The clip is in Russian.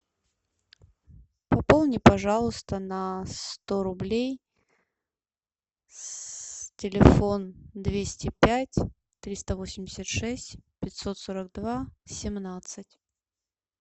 пополни пожалуйста на сто рублей телефон двести пять триста восемьдесят шесть пятьсот сорок два семнадцать